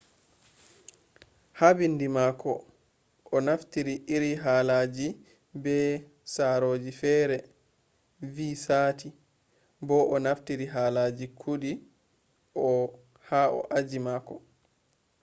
ha bindi mako o naftiri iri halaji be sarooji fere vi sati bo o naftiri halaji kudi ha aji mako